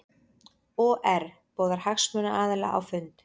OR boðar hagsmunaaðila á fund